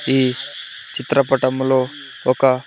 ఈ చిత్రపటంలో ఒక.